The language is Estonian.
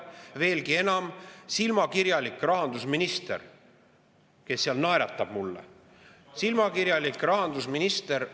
Veelgi enam, silmakirjalik rahandusminister, kes seal naeratab mulle – silmakirjalik rahandusminister!